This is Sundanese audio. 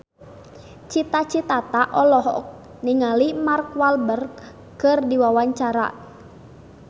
Cita Citata olohok ningali Mark Walberg keur diwawancara